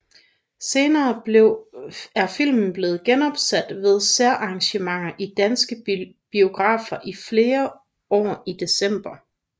Senere er filmen blevet genopsat ved særarrangementer i danske biografer flere år i december